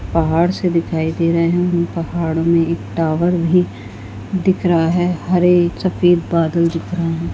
पहाड़ से दिखाई दे रहे हैं पहाड़ में एक टावर भी दिख रहा है हरे सफ़ेद बादल दिख रहे।